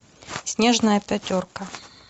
снежная пятерка